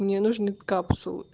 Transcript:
мне нужны капсулы